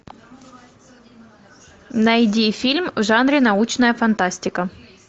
найди фильм в жанре научная фантастика